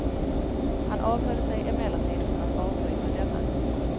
Han avhöll sig emellertid från att avbryta denne.